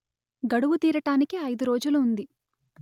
గడువు తీరటానికి అయిదు రోజులు ఉంది